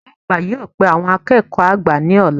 Ògá àgbà yóò pe àwon akéèkó àgbà ní òla